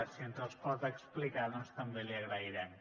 si ens els pot explicar doncs també l’hi agrairem